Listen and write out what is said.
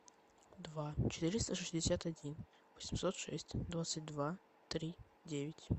два четыреста шестьдесят один восемьсот шесть двадцать два три девять